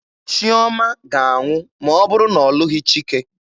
Chiọma ga-anwụ ma ọ bụrụ na ọ lụghị Chike.